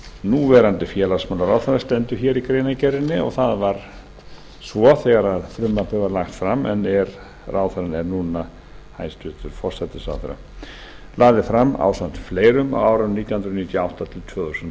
núverandi félagsmálaráðherra stendur hér í greinargerðinni og það var svo þegar frumvarpið var lagt fram en ráðherrann er núna hæstvirtur forsætisráðherra lagði fram ásamt fleirum á árunum nítján hundruð níutíu og átta til tvö þúsund og